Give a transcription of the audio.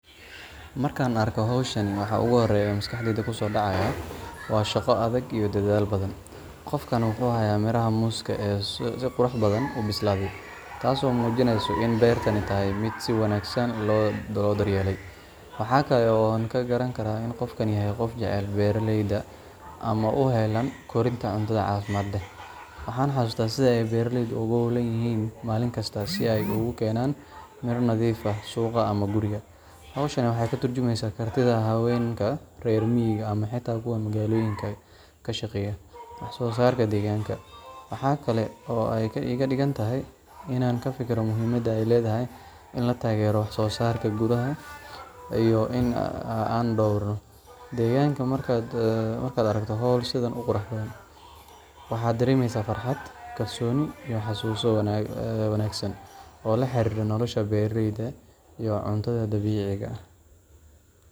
Markaan arko hawshan, waxa ugu horreeya ee maskaxdayda kusoo dhacaya waa shaqo adag iyo dadaal badan. Qofkani wuxuu hayaa miraha muuska ah ee si qurux badan u bislaaday, taasoo muujinaysa in beertani tahay mid si wanaagsan loo daryeelay. Waxa kale oo aan ka garan karaa in qofkani yahay qof jecel beeralayda ama u heellan korinta cunto caafimaad leh. Waxaan xasuustaa sida ay beeralaydu ugu hawlan yihiin maalinkasta si ay u keenaan miro nadiif ah suuqa ama guriga. Hawshan waxay ka tarjumaysaa kartida haweenka reer miyiga ama xitaa kuwa magaalooyinka ka shaqeeya wax soo saarka deegaanka. Waxa kale oo ay iga dhigtay inaan ka fikiro muhiimadda ay leedahay in la taageero wax soo saarka gudaha iyo in aan dhowrno deegaanka. Markaad aragto hawl sidan u qurux badan, waxaad dareemaysaa farxad, kalsooni, iyo xasuuso wanaagsan oo la xiriira nolosha beeralayda iyo cunto dabiici ah.